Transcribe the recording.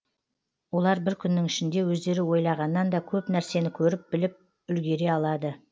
олар бір күннің ішінде өздері ойлағаннан да көп нәрсені көріп біліп үлегере алады